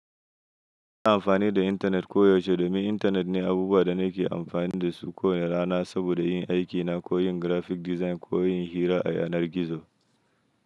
Ina amfani da intanet koyaushe domin intanet ne abubuwa da nake amfani da su kowane rana saboda yin aikina ko yin graphic design ko yin hira a yanar gizo.